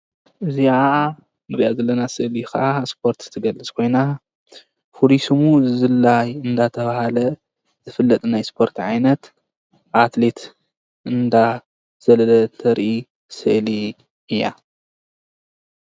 እዚኣ ንሪኣ ዘለና ስእሊ ከዓ ስፖርት ትገልፅ ኮይና ፍሉይ ስሙ ዝላይ አንዳተብሃለ ዝፍለጥ ናይ ስፖርት ዓይነት ኣትሌት እንዳ ዘለለ ተርኢ ስእሊ እያ።